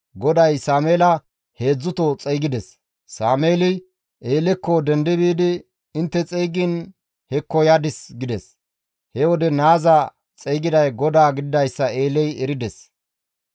GODAY Sameela heedzdzuto xeygides; Sameeli Eelekko dendi biidi, «Intte xeygiin hekko yadis» gides; he wode naaza xeygiday GODAA gididayssa Eeley erides.